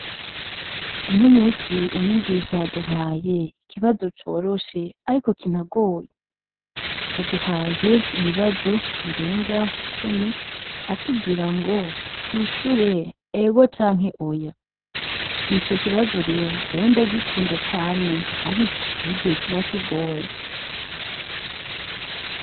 Uno musi umwigisha yaduhaye ikibazo coroshe , ariko kinagoye, yaduhaye ibibazo birenga cumi, atubwirango twishure ego canke oya. Ico kibazo rero jewe ndagikunda cane ariko hariho igihe kiba kigoye .